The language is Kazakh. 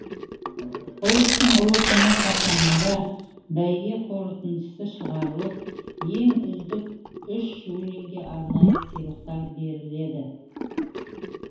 ұлыстың ұлы күні қарсаңында бәйге қорытындысы шығарылып ең үздік үш өлеңге арнайы сыйлықтар беріледі